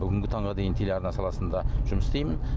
бүгінгі таңға дейін телеарна саласында жұмыс істеймін